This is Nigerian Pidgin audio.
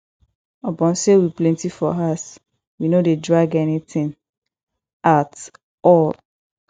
upon sey we plenty for house we no dey drag anytin at all